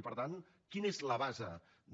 i per tant quina és la base